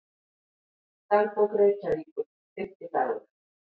Dagbók Reykjavíkur, Fimmtidagur